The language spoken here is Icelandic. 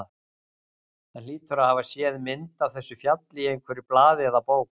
Hann hlýtur að hafa séð mynd af þessu fjalli í einhverju blaði eða bók.